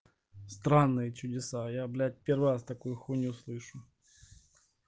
странные чудеса я блять первый раз такую хуйню слышу